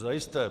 Zajisté.